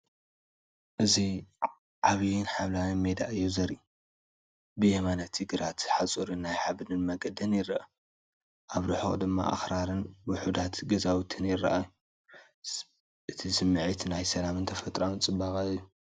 እዚ ዓቢን ሓምላይን ሜዳ እዩ ዘርኢ። ብየማን እቲ ግራት ሓጹርን ናይ ሓመድ መንገድን ይረአ። ኣብ ርሑቕ ድማ ኣኽራንን ውሑዳት ገዛውትን ይረኣዩ። እቲ ስምዒት ናይ ሰላምን ተፈጥሮኣዊ ጽባቐን እዩ